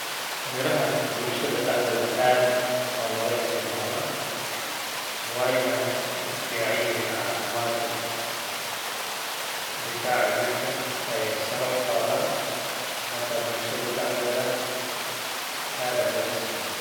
Mirahan bulshada daxdedha ad aa logaisticmalah, wayna u ficanyihin cafimadka. Difaca jirka ay sare uqadan, marka bulshada daxdeda ad aa logaisticmalaa.